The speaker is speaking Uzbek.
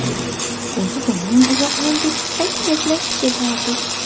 O‘zi doim uzoq yo‘lga chiqsak, gaplashib ketardik.